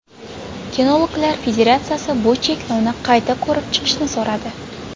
Kinologlar federatsiyasi bu cheklovni qayta ko‘rib chiqishni so‘radi.